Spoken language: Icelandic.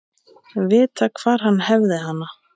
Vita hvar hann hefði hana.